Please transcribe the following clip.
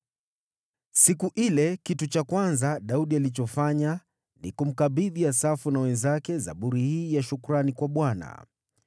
Siku ile, kitu cha kwanza Daudi alichofanya ni kumkabidhi Asafu na wenzake zaburi hii ya shukrani kwa Bwana :